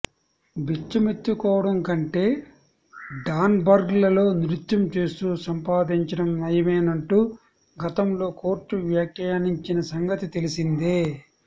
బిచ్చమెత్తుకోవడం కంటే డాన్స్బార్లలో నృత్యం చేస్తూ సంపాదించడం నయమేనంటూ గతంలో కోర్టు వ్యాఖ్యానించిన సంగతి తెలిసిందే